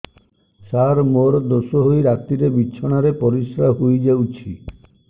ସାର ମୋର ଦୋଷ ହୋଇ ରାତିରେ ବିଛଣାରେ ପରିସ୍ରା ହୋଇ ଯାଉଛି